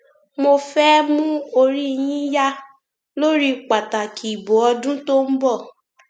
mo fẹẹ mú orí yín yá lórí pàtàkì ìbò ọdún tó ń bọ